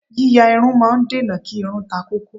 Yíya irun máa ń dènà kí irun takókó.